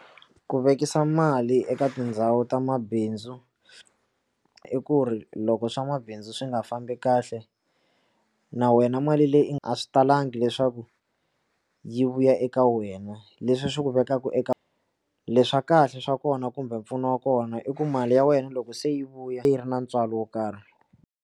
Ku vekisa mali eka tindhawu ta mabindzu i ku ri loko swa mabindzu swi nga fambi kahle na wena mali leyi a swi talangi leswaku ku yi vuya eka wena leswi swi ku vekaku eka leswa kahle swa kona kumbe mpfuno wa kona i ku mali ya wena loko se yi vuya yi ri na ntswalo wo karhi.